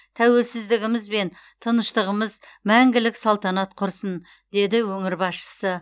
тәуелсіздігіміз бен тыныштығымыз мәңгілік салтанат құрсын деді өңір басшысы